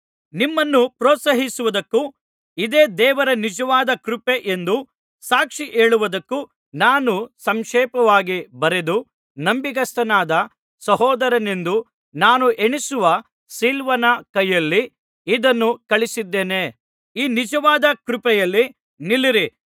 ನಿಮ್ಮನ್ನು ಪ್ರೋತ್ಸಾಹಿಸುವುದಕ್ಕೂ ಇದೇ ದೇವರ ನಿಜವಾದ ಕೃಪೆ ಎಂದು ಸಾಕ್ಷಿ ಹೇಳುವುದಕ್ಕೂ ನಾನು ಸಂಕ್ಷೇಪವಾಗಿ ಬರೆದು ನಂಬಿಗಸ್ತನಾದ ಸಹೋದರನೆಂದು ನಾನು ಎಣಿಸುವ ಸಿಲ್ವಾನನ ಕೈಯಲ್ಲಿ ಇದನ್ನು ಕಳುಹಿಸಿದ್ದೇನೆ ಈ ನಿಜವಾದ ಕೃಪೆಯಲ್ಲಿ ನಿಲ್ಲಿರಿ